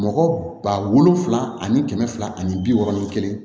Mɔgɔ ba wolonfila ani kɛmɛ fila ani bi wɔɔrɔ ni kelen